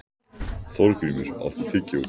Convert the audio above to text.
Þorgrímur, áttu tyggjó?